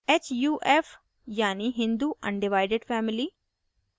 huf यानि hindu undivided family